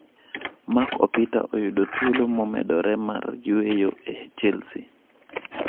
Mark opita oyudo thuolo momedore mar yueyo e Chelsea